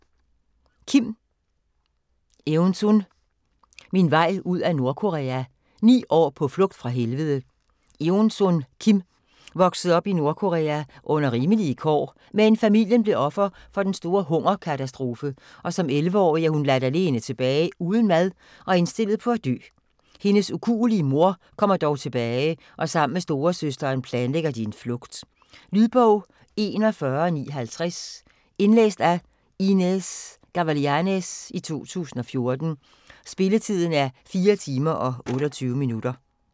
Kim, Eunsun: Min vej ud af Nordkorea: ni år på flugt fra helvede Eunsun Kim voksede op i Nordkorea under rimelige kår, men familien blev offer for den store hungerkatastrofe, og som 11-årig er hun ladt alene tilbage uden mad og er indstillet på at dø. Hendes ukuelige mor kommer dog tilbage og sammen med storesøsteren planlægger de en flugt. Lydbog 41950 Indlæst af Inez Gavilanes, 2014. Spilletid: 4 timer, 28 minutter.